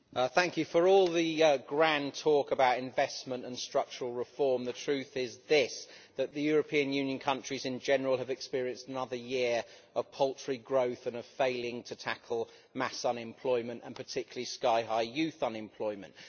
Mr President, for all the grand talk about investment and structural reform, the truth is this that the European Union countries in general have experienced another year of paltry growth and are failing to tackle mass unemployment and, particularly, sky high youth unemployment.